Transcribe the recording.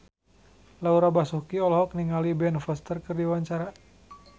Laura Basuki olohok ningali Ben Foster keur diwawancara